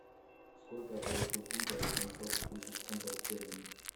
сколько я получу фунтов за семьсот тысяч фунтов стерлингов